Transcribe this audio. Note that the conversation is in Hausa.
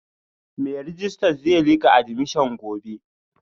Mai rejista zai lika admission gobe